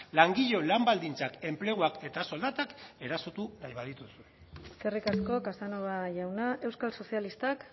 langileon lan baldintzak enpleguak eta soldatak erasotu nahi baldin badituzu eskerrik asko casanova jauna euskal sozialistak